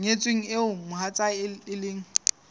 nyetsweng eo mohatsae e leng